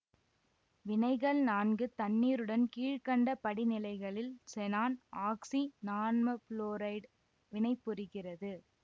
வினைகள் நான்கு தண்ணீருடன் கீழ்கண்ட படிநிலைகளில் செனான் ஆக்சி நான்மபுளோரைடு வினைபுரிகிறது